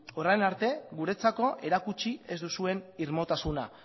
orain arte guretzako erakutsi ez duzuen irmotasuna